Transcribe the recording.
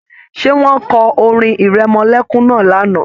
Ṣé wọn kọ orin-ìrẹmọlẹ́kún náà lánàá?